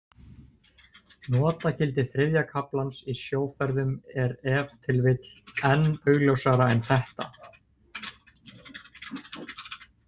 Notagildi þriðja kaflans í sjóferðum er ef til vill enn augljósara en þetta.